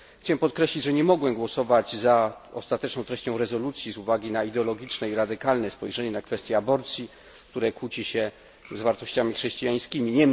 Chciałem podkreślić, że nie mogłem głosować za ostateczną treścią rezolucji z uwagi na ideologiczne i radykalne spojrzenie na kwestię aborcji, które kłóci się z wartościami chrześcijańskimi.